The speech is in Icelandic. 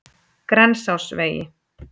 Grensásvegi